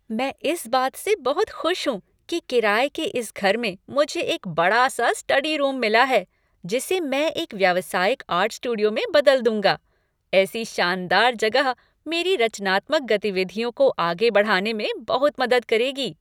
मैं इस बात से बहुत खुश हूँ कि किराये के इस घर में मुझे एक बड़ा सा स्टडी रूम मिला है जिसे मैं एक व्यावसायिक आर्ट स्टूडियो में बदल दूंगा। ऐसी शानदार जगह मेरी रचनात्मक गतिविधियों का आगे बढ़ाने में बहुत मदद करेगी।